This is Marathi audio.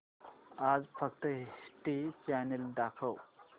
आज फक्त हिस्ट्री चॅनल दाखव